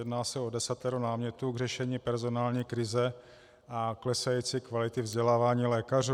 Jedná se o desatero námětů k řešení personální krize a klesající kvality vzdělávání lékařů.